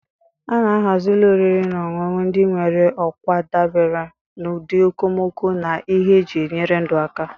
A na-ahazi ụlọ oriri na ọṅụṅụ ndị nwere okwa dabere n'ụdị okomoko na ihe eji enyere ndụ aka.